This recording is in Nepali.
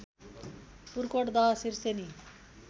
पुर्कोट दह सिर्सेनी